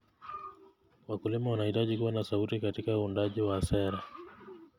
Wakulima wanahitaji kuwa na sauti katika uundaji wa sera.